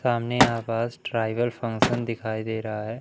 सामने आवास tribal function दिखाई दे रहा है।